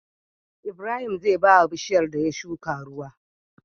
Ibrahim zai bawa bishiyar da ya shuka ruwa